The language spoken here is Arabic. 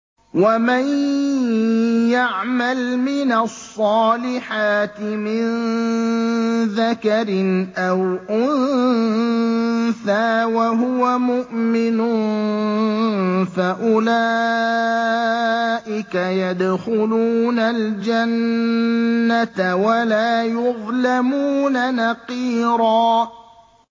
وَمَن يَعْمَلْ مِنَ الصَّالِحَاتِ مِن ذَكَرٍ أَوْ أُنثَىٰ وَهُوَ مُؤْمِنٌ فَأُولَٰئِكَ يَدْخُلُونَ الْجَنَّةَ وَلَا يُظْلَمُونَ نَقِيرًا